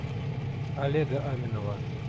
олега аминова